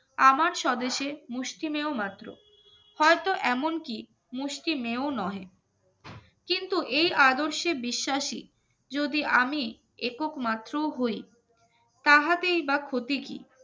আমার স্বদেশে মুষ্টিমেয় মাত্র হয়তো এমনকি মুষ্টিমেয় নয় কিন্তু এই আদর্শে বিশ্বাসী যদি আমি একক মাত্র হই তাহাতেই বা ক্ষতি কি